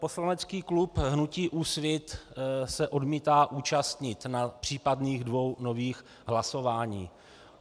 Poslanecký klub hnutí Úsvit se odmítá účastnit na případných dvou nových hlasováních.